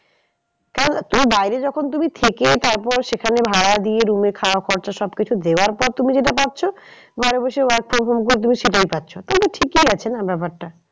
কারণ এই বাইরে যখন তুমি থেকে তারপর সেখানে ভাড়া দিয়ে room এ খাওয়া খরচা সব কিছু দেওয়ার পর তুমি যেটা পাচ্ছ ঘরে বসে work from home করে তুমি সেটাই পাচ্ছ। তাহলে তো ঠিকই আছে না ব্যাপারটা।